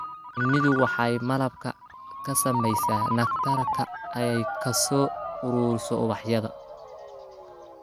Shinnidu waxay malab ka samaysaa nectar-ka ay ka soo ururiso ubaxyada.